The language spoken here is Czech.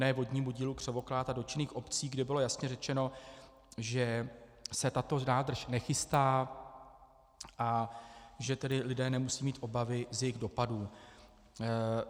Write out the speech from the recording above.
Ne vodnímu dílu Křivoklát a dotčených obcí, kde bylo jasně řečeno, že se tato nádrž nechystá a že tedy lidé nemusí mít obavy z jejích dopadů.